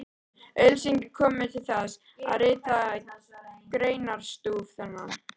Auglýsingin kom mér til þess, að rita greinarstúf þennan.